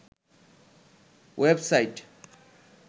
web site